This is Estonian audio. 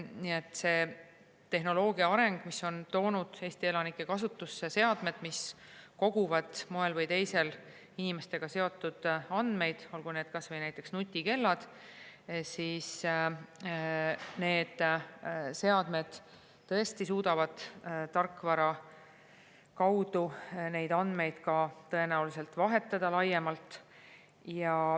Nii et tehnoloogia areng, mis on toonud Eesti elanike kasutusse seadmed, mis koguvad moel või teisel inimestega seotud andmeid, olgu need kas või nutikellad, on selline, et mõned seadmed tõesti suudavad tarkvara kaudu tõenäoliselt ka laiemalt andmeid vahetada.